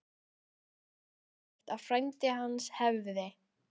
Var hugsanlegt að frændi hans hefði